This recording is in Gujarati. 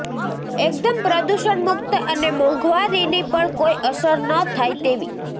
એકદમ પ્રદૂષણ મુક્ત અને મોંઘવારીની પણ કોઈ અસર ન થાય તેવી